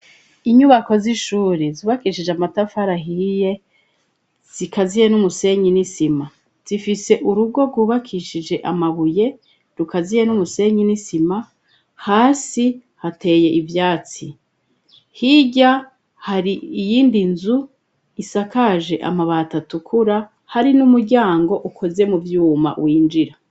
Inyubako z'ishuri zubakishije amatafari ahiye zikaziye n'umusenyi n'isima. Zifise urugo rwubakishije amabuye, rukaziye n'umusenyi n'isima, hasi hateye ivyatsi. Hirya hari iyindi nzu isakaje amabati atukura, hari n'umuryango ukoze mu vyuma winjira.